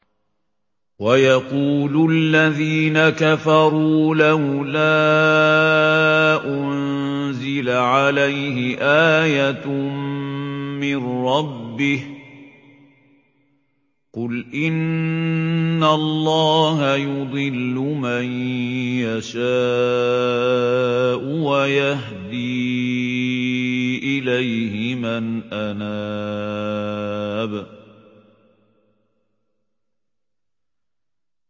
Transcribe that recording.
وَيَقُولُ الَّذِينَ كَفَرُوا لَوْلَا أُنزِلَ عَلَيْهِ آيَةٌ مِّن رَّبِّهِ ۗ قُلْ إِنَّ اللَّهَ يُضِلُّ مَن يَشَاءُ وَيَهْدِي إِلَيْهِ مَنْ أَنَابَ